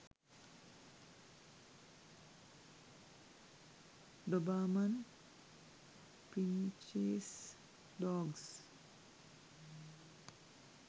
dobarman pinches dogs